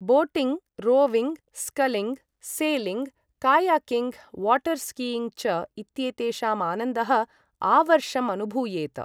Boating, rowing, sculling, sailing, kayaking, water skiing च इत्येतेषामानन्दः आवर्षमनुभूयेत।